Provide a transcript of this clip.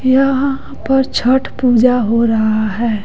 पर छठ पूजा हो रहा है।